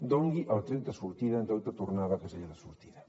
doni el tret de sortida en lloc de tornar a la casella de sortida